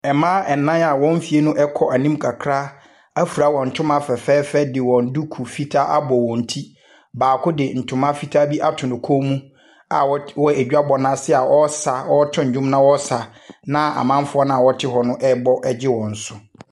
Mmaa nnan a wɔn mfeɛ no kɔ anim kakra afira wɔn ntoma fɛfɛɛfɛ de wɔn duku fitaa abɔ wɔn ti. Baako de ntoma fitaa bi ato ne kɔn mu a wɔd ɔwɔ adwabɔ no ase a ɔresa ɔreto nnwo na ɔresa, na amanfoɔ no a wɔte hɔ no rebɔ gye wɔn so.